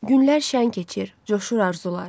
Günlər şəng keçir, coşur arzular.